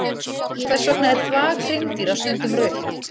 Hvers vegna er þvag hreindýra stundum rautt?